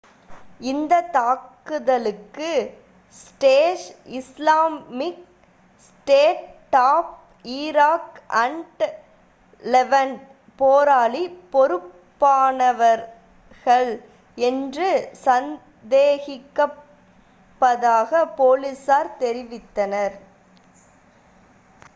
இந்த தாக்குதலுக்கு Daesh Islamic State of Iraq and Levant போராளி பொறுப்பானவர்கள் என்று சந்தேகிப்பதாக போலீசார் தெரிவித்தனர்